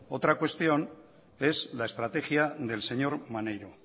otra cuestión es la estrategia del señor maneiro